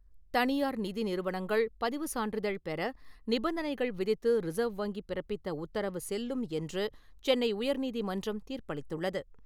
தனியார் நிதி நிறுவனங்கள் பதிவு சான்றிதழ் பெற நிபந்தனைகள் விதித்து ரிசர்வ் வங்கி பிறப்பித்த உத்தரவு செல்லும் என்று சென்னை உயர்நீதிமன்றம் தீர்ப்பளித்துள்ளது.